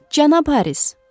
Cənab Haris.